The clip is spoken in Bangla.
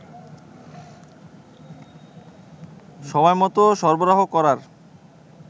সময়মত সরবরাহ করার